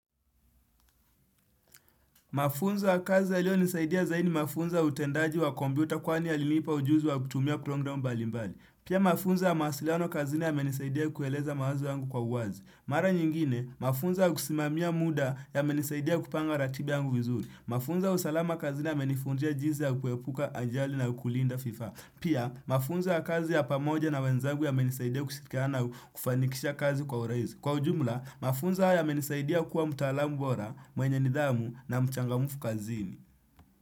Mafunzo ya kazi yaliyo nisaidia zaidi ni mafunzo ya utendaji wa kompyuta kwani yalinipa ujuzi wa kutumia programu mbali mbali. Pia mafunzo ya mawasiliano kazini yamenisaidia kueleza mawazo yangu kwa uwazi. Mara nyingine, mafunzo ya kusimamia muda yamenisaidia kupanga ratiba yangu vizuri. Mafunzo ya salama kazini ya menifundisha jinsi ya kuepuka ajali na kulinda vifaa. Pia, mafunzo ya kazi ya pamoja na wenzangu yamenisaidia kushirikiana na kufanikisha kazi kwa urahisi. Kwa ujumla, mafunzo haya yamenisaidia kuwa mtaalamu bora mwenye nidhamu na mchangamufu kazini.